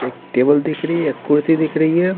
एक टेबल दिख रही है कुर्सी दिख रही है।